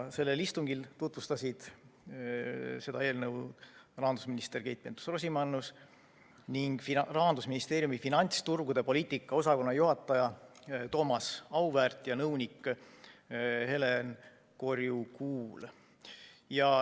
Sellel istungil tutvustasid seda eelnõu rahandusminister Keit Pentus‑Rosimannus ning Rahandusministeeriumi finantsturgude poliitika osakonna juhataja Thomas Auväärt ja nõunik Helen Korju-Kuul.